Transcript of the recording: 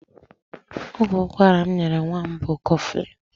Ọgwụ ụkwara m nyere nwa m bụ koflịn.